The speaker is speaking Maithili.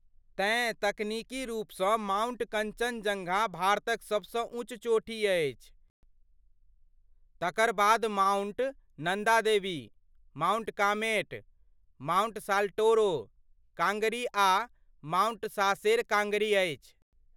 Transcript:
तेँ तकनीकी रूपसँ माउंट कञ्चनजङ्घा भारतक सबसँ ऊँच चोटी अछि, तकर बाद माउंट नन्दा देवी, माउंट कामेट, माउंट.साल्टोरो काङ्गरी आ माउंट सासेर काङ्गरी अछि।